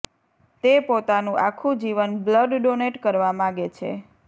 તે પોતાનુ આખુ જીવન બ્લડ ડોનેટ કરવા માંગે છે